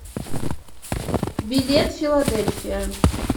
билет филадельфия